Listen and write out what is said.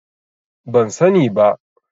Ban sani ba.